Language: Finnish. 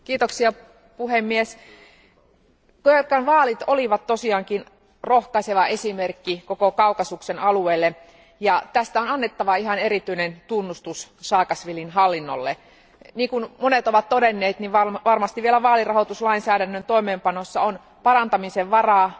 Arvoisa puhemies, Georgian vaalit olivat tosiaankin rohkaiseva esimerkki koko Kaukasian alueelle, ja tästä on annettava ihan erityinen tunnustus Saakašvilin hallinnolle. Niin kuin monet ovat todenneet, niin varmasti vielä vaalirahoituslainsäädännön toimeenpanossa on parantamisen varaa.